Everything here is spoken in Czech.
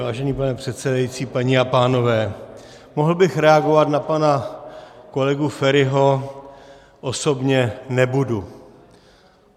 Vážený pane předsedající, paní a pánové, mohl bych reagovat na pana kolegu Feriho osobně, nebudu.